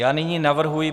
Já nyní navrhuji